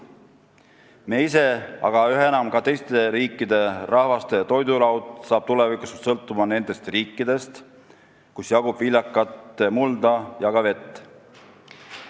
Me ise, aga samuti üha enam teiste riikide rahvaste toidulaud hakkab tulevikus sõltuma nendest riikidest, kus jagub viljakat mulda ja ka vett.